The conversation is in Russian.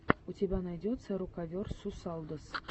у тебя найдется рокаверсусалдос